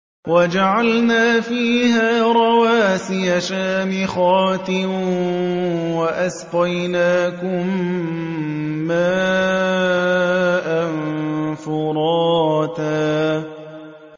وَجَعَلْنَا فِيهَا رَوَاسِيَ شَامِخَاتٍ وَأَسْقَيْنَاكُم مَّاءً فُرَاتًا